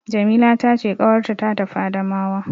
Jamila ta ce ƙawarta ta tafi Adamawa.